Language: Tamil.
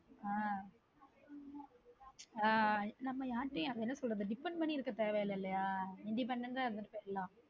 ஆஹ் ஆஹ் நம்ம யார்க்கிட்டயும் என்ன சொல்றது depend பண்ணி இருக்க தேவையில்ல இல்லயா நம்ம independent இருந்துட்டு போய்ட்லான்